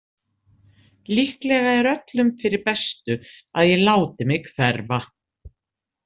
Líklega er öllum fyrir bestu að ég láti mig hverfa.